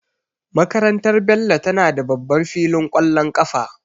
Makarantar Bello tana da babban filin ƙwallon kafa.